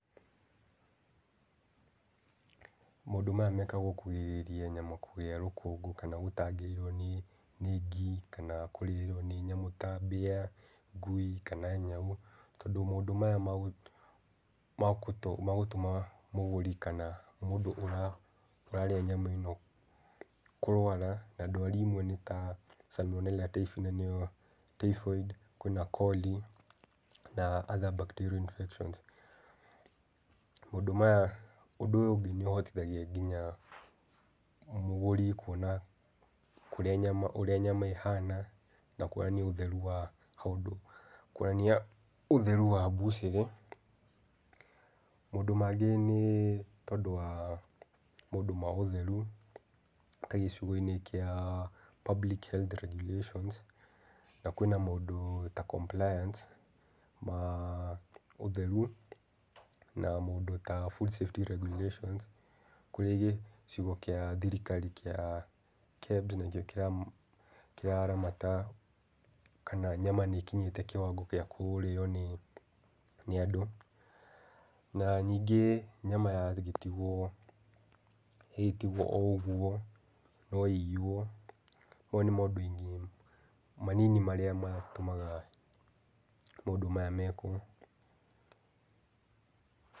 Maũndũ maya mekagwo kugirĩrĩria nyama kũgĩa rũkũngũ kana gũtangĩrĩrwo nĩ nĩ ngi, kana kũrĩo nĩ nyamũ ta mbĩa, ngui kana nyau, tondũ maũndũ maya magũtũma mũgũri kana mũndũ ũrarĩa nyama ĩno kũrwara, na ndwari imwe nĩ ta salmonella typhi na nĩyo typhoid kwĩna coli na other bacteria infections. Maũndũ maya ũndũ ũyũ nĩũhitithagia nginya mũgũri kuona kũrĩa ũrĩa nyama ĩhana, na kuonania ũtheru wa handũ kuonania ũtheru wa mbucĩrĩ. Maũndũ mangĩ nĩ tondũ wa maũndũ wa ũtheru, ta gĩcunjĩ-inĩ kĩa Public Heath Regulations, na kwĩna maũndũ ta compliance ma ũtheru, na maũndũ ta food safety regulations kũrĩ gĩcigo kĩa thirikari kĩa KED nakĩo kĩraramata kana nyama nĩĩkinyĩte kĩwango kĩa kũrĩo nĩ nĩ andũ. Na ningĩ nyama yagĩtigwo ĩgĩtigwo o ũguo no ĩiywo, mau nĩ mandũ-inĩ manini marĩa matũmaga maũndũ maya mekwo.